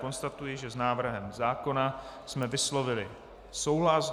Konstatuji, že s návrhem zákona jsme vyslovili souhlas.